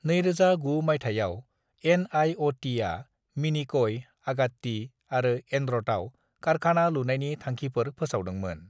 "2009 मायथायाव एन.आइ.अ.टी. आ मिनिकय, आगात्ती आरो एनड्रटआव कारखाना लुनायनि थांखिफोर फोसावदोंमोन।"